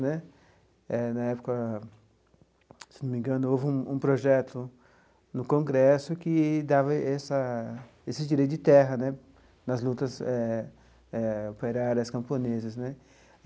Né eh na época, se eu não me engano, houve um um projeto no Congresso que dava essa esse direito de terra né nas lutas eh eh operárias camponesas né.